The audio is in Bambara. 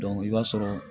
i b'a sɔrɔ